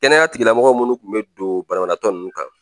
Kɛnɛya tigilamɔgɔ munnu kun be don banabaatɔ nunnu kan